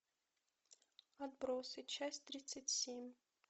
отбросы часть тридцать семь